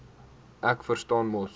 ek verstaan mos